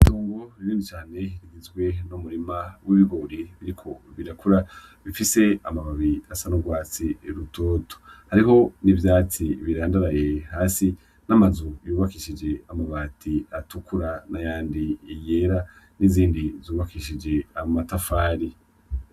Itongo rinini cane rigizwe n'umurima w'ibigori biriko birakura bifise amababi asa n'urwatsi rutoto hariho n'ivyatsi birandaraye hasi n'amazu yubakishije amabati atukura n'ayandi yera n'izindi zubakishije amatafari.